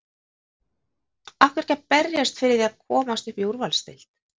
Af hverju ekki að berjast fyrir því að komast upp í úrvalsdeild?